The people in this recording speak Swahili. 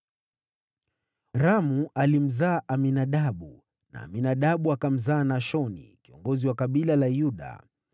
Ramu alimzaa Aminadabu, na Aminadabu akamzaa Nashoni, kiongozi wa kabila la Yuda.